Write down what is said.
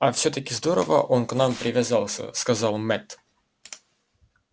а всё-таки здорово он к нам привязался сказал мэтт